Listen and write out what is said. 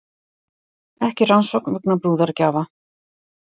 Ekki rannsókn vegna brúðargjafa